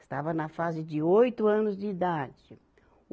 Estava na fase de oito anos de idade.